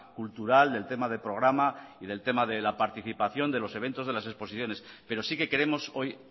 cultural del tema de programa y del tema de la participación de los eventos de las exposiciones pero sí que queremos hoy